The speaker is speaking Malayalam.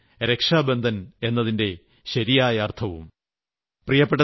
ഇത് തന്നെയാണ് രക്ഷാബന്ധൻ എന്നതിന്റെ ശരിയായ അർത്ഥവും